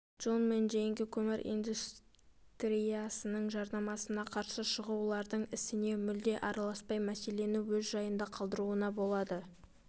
джон мен джейнге көмір индустриясының жарнамасына қарсы шығушылардың ісіне мүлде араласпай мәселені өз жайында қалдыруына болады